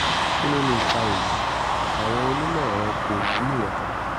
kí ló lè fa èyí? àwọn onímọ̀ ẹ̀rọ kò wúlò rárá